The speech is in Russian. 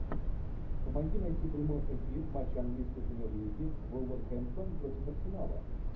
помоги найти прямой эфир матча английской премьер лиги вулверхэмптон против арсенала